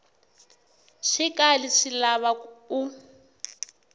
swi kali swi lava u